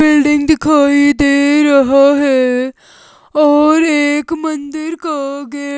building दिखाई दे रहा है और एक मंदिर का गे--